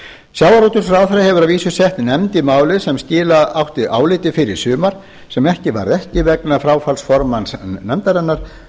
sjávarútvegsráðherra hefur að vísu sett nefnd í málið sem skila átti áliti fyrr í sumar sem ekki varð af vegna fráfalls formanns nefndarinnar